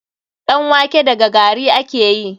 Ɗan wake daga gari ake yi.